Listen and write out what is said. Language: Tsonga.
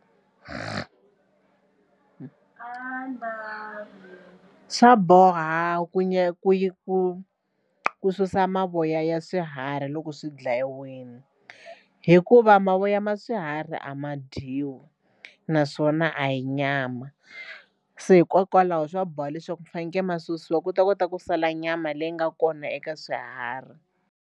Swa boha ku ku ku ku susa mavoya ya swiharhi loko swi dlayiwile hikuva mavoya ma swiharhi a ma dyiwi naswona a yi nyama se hikokwalaho swa boha leswaku fanekele ma susiwa ku ta kota ku sala nyama leyi nga kona eka swiharhi.